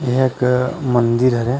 इहाँ एक मंदिर हरे।